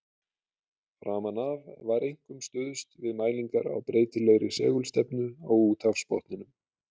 Framan af var einkum stuðst við mælingar á breytilegri segulstefnu á úthafsbotninum.